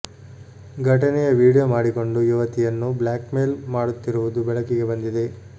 ಘಟನೆಯ ವಿಡಿಯೋ ಮಾಡಿಕೊಂಡು ಯುವತಿಯನ್ನು ಬ್ಲಾಕ್ ಮೇಲ್ ಮಾಡುತ್ತಿರುವುದು ಬೆಳಕಿಗೆ ಬಂದಿದೆ